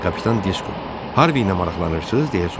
"Kapitan Disko Harvi ilə maraqlanırsız?"